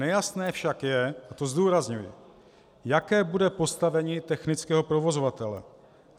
Nejasné však je, a to zdůrazňuji, jaké bude postavení technického provozovatele.